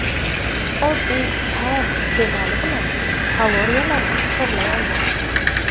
Oddiy taom iste’moli bilan kaloriyalarni hisoblay olmaysiz.